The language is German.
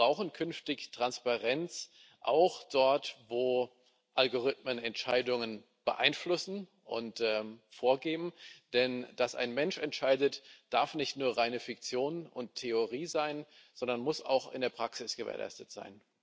Wir brauchen künftig Transparenz auch dort, wo Algorithmen Entscheidungen beeinflussen und vorgeben, denn dass ein Mensch entscheidet, darf nicht nur reine Fiktion und Theorie sein, sondern muss auch in der Praxis gewährleistet sein.